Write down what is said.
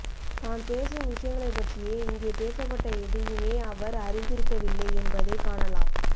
தான் பேசும் விஷயஙளைப்பற்றியே இங்கே பேசப்பட்ட எதையுமே அவர் அறிந்திருக்கவில்லை என்பதைக் காணலாம்